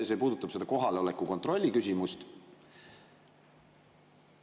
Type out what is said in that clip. See puudutab kohaloleku kontrolli küsimust.